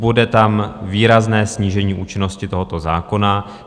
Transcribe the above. Bude tam výrazné snížení účinnosti tohoto zákona.